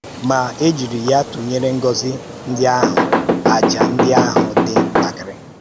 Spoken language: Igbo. Ma, e jiri ya tụnyere ngọ́zì ndị ahụ̀, àjà ndị ahụ̀ dị̀ ntàkìrì.